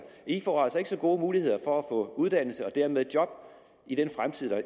i får altså ikke så gode muligheder for at få uddannelse og dermed job i den fremtid